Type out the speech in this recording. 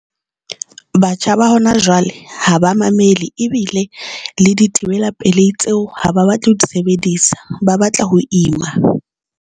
Batjha ba hona jwale ha ba mamele ebile le dithibela pelehi tseo, ha ba batla ho di sebedisa, ba batla ho ima.